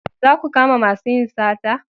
Za ku kama masu yin sata!